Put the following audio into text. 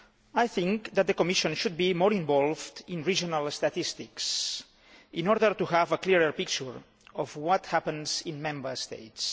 I think that the Commission should be more involved in regional statistics, in order to have a clearer picture of what happens in Member States.